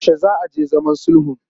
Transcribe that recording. Yaushe za a je zaman sulhun?